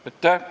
Aitäh!